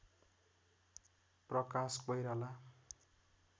Prakash Koirala